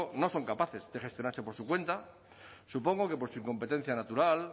no son capaces de gestionarse por su cuenta supongo que por su incompetencia natural